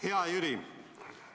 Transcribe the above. Hea Jüri!